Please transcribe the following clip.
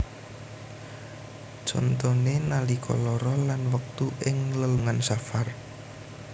Contoné nalika lara lan wektu ing lelungan safar